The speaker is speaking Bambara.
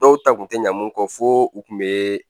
Dɔw ta kun tɛ ɲɛ mun kɔ fo u kun bee